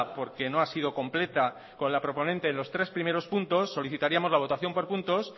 porque no ha sido completa con la proponente en los tres primeros puntos solicitaríamos la votación por puntos